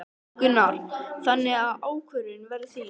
Gunnar: Þannig að ákvörðunin verður þín?